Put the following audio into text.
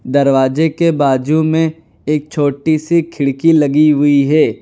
दरवाजे के बाजू में एक छोटी सी खिड़की लगी हुई है।